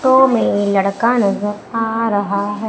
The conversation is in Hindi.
तो मेरे लड़का नजर आ रहा है।